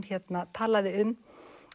talaði um